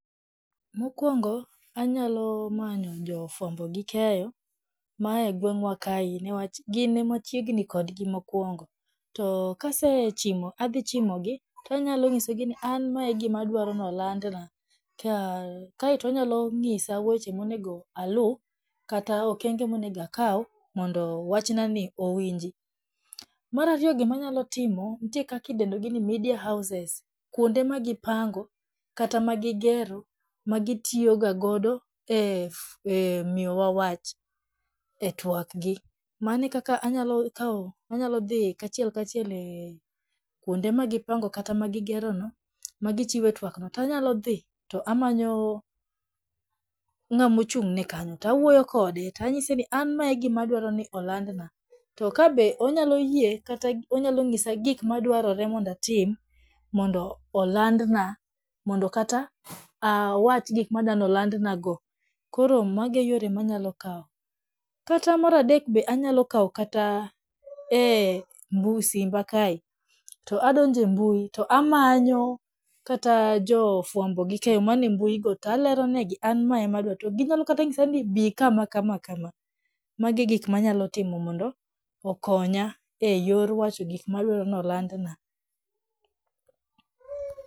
Mokwongo, anyalo manyo jofwambo gi keyo, mae e gweng'wa kae niwach gin ema wachiegni kodgi mokwongo, to kase chimo adhichimogi to anyalonyisogi ni an mae e gimaadwaro nolandna kae to onyalo nyisa weche monego aluu kata okenge monego akaw mondo wachnani owinji. Mar ariyo gima anyalo timo nitie kakidendogi ni media houses, kuonde ma gipango kata ma gigero ma gitiyogagodo e miyo wawach e twak gi, mano e kaka anyalo kawo anyalodhii kachiel kachiel kwonde ma gipango kata magigerono ma gichiwo e twakno to anyalodhii to amanyo ng'amochung'ne kanyo to awuoyo kode to anyise ni an mae e gima adwaro ni olandna, to ka be onyaloyie kata onyalonyisa gikmadwarore ni mondo atim mondo olandna mondo kata awach gikmaadani olandna go koro mago e yore maanyalo kao. Kata mara adek be anyalo kao kata e simba kae to to adonjo e mbui to amanyo kata jofwambo gi keyo mane mbuigo to aleronegi an mae ema adwaro to ginyalo kata nyisani bii kama kama kama magi e gikma anyalotimo mondo okonya e yor wacho gik ma adwaro nolandna.